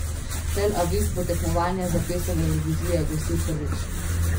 Tel Aviv bo tekmovanje za pesem Evrovizije gostil prvič.